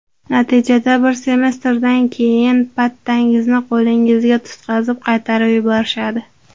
Natijada bir semestrdan keyin pattangizni qo‘lingizga tutqazib, qaytarib yuborishadi.